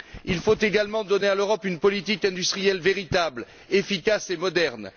Il faut également donner à l'Europe une politique industrielle véritable, efficace et moderne.